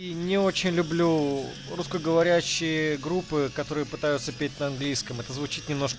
и не очень люблю русскоговорящие группы которые пытаются петь на английском это звучит немнож